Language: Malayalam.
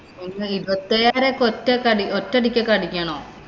ഇരുപത്തിയേഴായിരം ഒക്കെ ഒറ്റക്കടി ഒറ്റയടിക്കൊക്കെ അടക്കണോ.